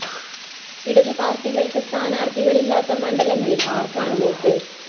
ഇടത്പാര്‍ട്ടികള്‍ക്ക് സ്ഥാനാര്‍ത്ഥികളില്ലാത്ത മണ്ഡലങ്ങളില്‍ ആര്‍ക്കാണ് വോട്ട്?